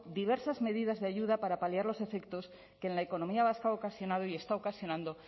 diversas medidas de ayuda para paliar los efectos que en la economía vasca ha ocasionado y está ocasionando